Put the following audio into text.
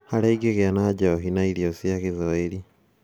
Harĩa ingĩgĩa na njohi na irio cia Gĩthwaĩri